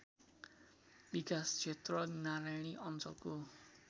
विकासक्षेत्र नारायणी अञ्चलको